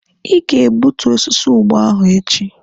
Ị ga-egbutu osisi ụgba ahụ echi!